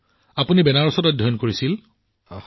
প্ৰধানমন্ত্ৰীঃ আপুনি বেনাৰসত অধ্যয়ন কৰিছে